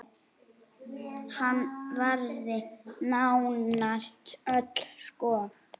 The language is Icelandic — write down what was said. Hann varði nánast öll skot.